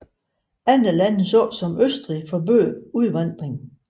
Andre lande såsom Østrig forbød udvandring